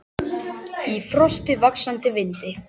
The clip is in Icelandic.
Í frosti, vaxandi vindi.